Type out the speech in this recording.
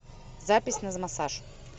запись на массаж